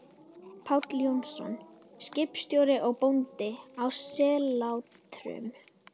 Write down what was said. Páll Jónsson, skipstjóri og bóndi, á Sellátrum.